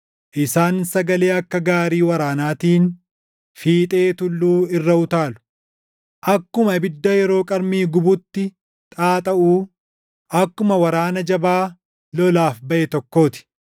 Isaan sagalee akka gaarii waraanaatiin fiixee tulluu irra utaalu; akkuma ibidda yeroo qarmii gubutti xaaxaʼuu, akkuma waraana jabaa lolaaf baʼe tokkoo ti.